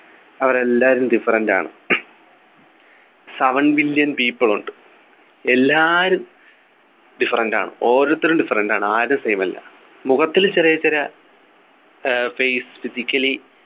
അവരെല്ലാരും different ആണ് seven million people ഉണ്ട് എല്ലാവരും different ആണ് ഓരോരുത്തരും different ആണ് ആരും same അല്ല മുഖത്തിൽ ചെറിയ ചെറിയ ഏർ face Physically